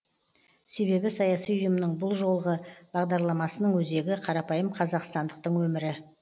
себебі саяси ұйымның бұл жолғы бағдарламасының өзегі қарапайым қазақстандықтың өмірі